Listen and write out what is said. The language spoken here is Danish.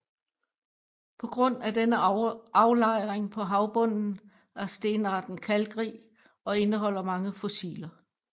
På grund af denne aflejring på havbunden er stenarten kalkrig og indeholder mange fossiler